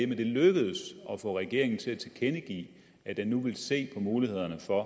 det lykkedes at få regeringen til at tilkendegive at den nu ville se på mulighederne for at